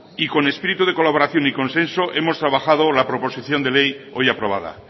y con espíritu de colaboración y consenso hemos trabajado la proposición de ley hoy aprobada